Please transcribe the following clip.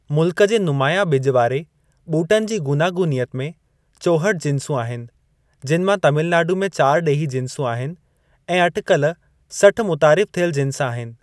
मुल्कु जे नुमायां ॿिज वारे ॿूटनि जी गूनागूनियत में चोहठि जिन्सूं आहिनि जिनि मां तमिलनाडू में चार ॾेही जिन्सूं आहिनि ऐं अटिकल सठ मुतारिफ थियल जिन्स आहिनि।